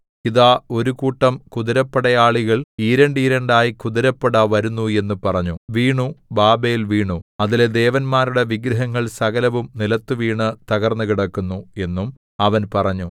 ഇതാ ഒരു കൂട്ടം കുതിരപ്പടയാളികൾ ഈരണ്ടീരണ്ടായി കുതിരപ്പട വരുന്നു എന്നു പറഞ്ഞു വീണു ബാബേൽ വീണു അതിലെ ദേവന്മാരുടെ വിഗ്രഹങ്ങൾ സകലവും നിലത്തുവീണു തകർന്നുകിടക്കുന്നു എന്നും അവൻ പറഞ്ഞു